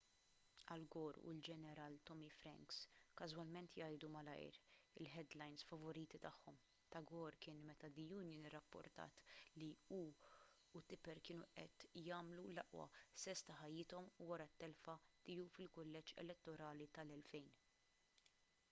al gore u l-ġeneral tommy franks każwalment jgħidu malajr il-headlines favoriti tagħhom ta' gore kien meta the onion irrapportat li hu u tipper kienu qed jagħmlu l-aqwa sess ta' ħajjithom wara t-telfa tiegħu fil-kulleġġ elettorali tal-2000